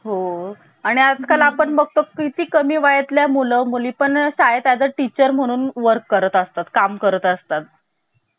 किंवा प्रास्ताविका असही म्हणतात तर तिचा आता आपण अभ्यास करणार आहोत. आता सुरुवातीला सर्वप्रथम कोणत्या देशाच्या राज्यघटनेमध्ये प्रस्तावना देण्यात आली होती तर तो देश आहे अमेरिका कोणता देश तो